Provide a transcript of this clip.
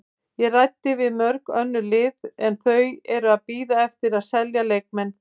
Ég ræddi við mörg önnur lið en þau eru að bíða eftir að selja leikmenn.